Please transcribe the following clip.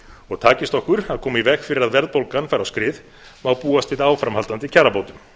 og takist okkur að koma í veg fyrir að verðbólgan fari á skrið má búast við áframhaldandi kjarabótum